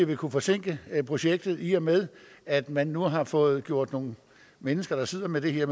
vil kunne forsinke projektet yderligere i og med at man nu har fået gjort nogle mennesker der sidder med det her